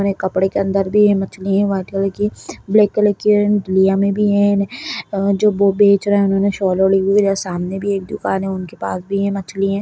कपड़े के अंदर भी ये मछली हैं वाइट कलर की ब्लैक कलर के एंड लिया में भी हे जो बेच रहा है उन्होंने ने सोल ओढ़ी हुए है सामने में भी दुकान हे उनके के पास भी ये मछली हैं।